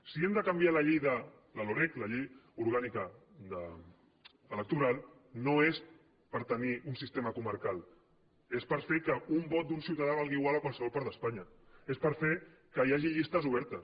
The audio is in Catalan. si hem de canviar la llei la loreg la llei orgànica electoral no és per tenir un sistema comarcal és per fer que un vot d’un ciutadà valgui igual a qualsevol part d’espanya és per fer que hi hagi llistes obertes